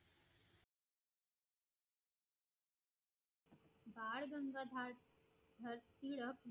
Bal Gangadhar Tilak